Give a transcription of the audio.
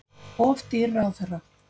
Of dýr ráðherra